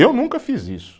Eu nunca fiz isso.